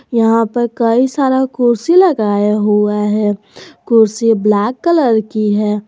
यहां पर कई सारा कुर्सी लगाया हुआ है कुर्सी ब्लैक कलर की है।